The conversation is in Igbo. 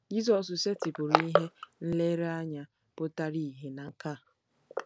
Jizọs setịpụrụ ihe nlereanya pụtara ìhè na nke a.